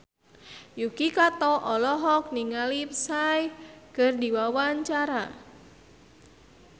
Yuki Kato olohok ningali Psy keur diwawancara